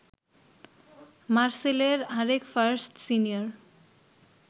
মারসেলের আরেক first senior